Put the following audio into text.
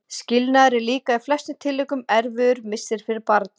Skilnaður er líka í flestum tilvikum erfiður missir fyrir barn.